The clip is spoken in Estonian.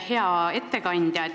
Hea ettekandja!